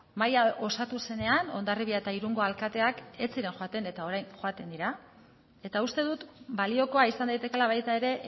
mahaia osatu zenean hondarribia eta irungo alkateak ez ziren joaten eta orain joaten dira eta uste dut baliokoa izan daitekeela baita ere